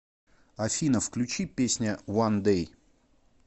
афина включи песня ван дэй